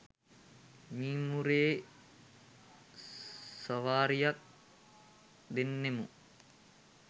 මීමුරේ සවාරියක් දෙන්නෙමු